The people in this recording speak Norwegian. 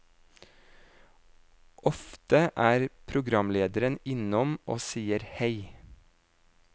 Ofte er programlederen innom og sier hei.